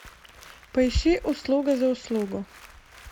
поищи услуга за услугу